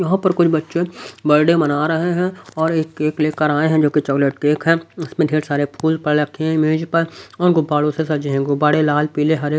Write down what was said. यहां पर कुछ बच्चे बर्डे मना रहे हैं और एक केक लेकर आए हैं जो कि चॉकलेट केक है उसमें ढेर सारे फूल पड़े रखे हैं मेज पर और गुब्बारों से सजे हैं गुब्बारे लाल पीले हरे--